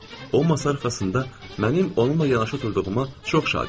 O masa arxasında mənim onunla yanaşı oturduğuma çox şad idi.